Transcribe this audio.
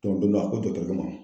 don dɔ , a ko dɔgɔtɔrɔkɛ ma .